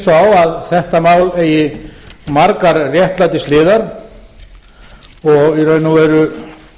á að þetta mál eigi margar réttlætishliðar og í raun og veru